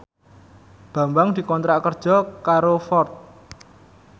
Bambang dikontrak kerja karo Ford